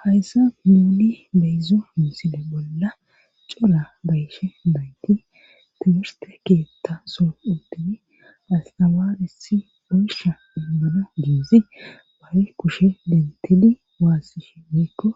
hayssa huudi beyzo misile bolla cora bayshe nayti timirste keetta so uddidi astawaarisi bussha immano guuzi baw kushe dentidi waassishi miikko